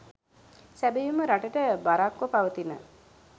සැබැවින්ම රටට බරක්ව පවතින